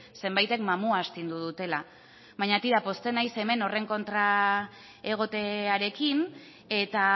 zenbaitek mamua astindu dutela baina tira pozten naiz hemen horren kontra egotearekin eta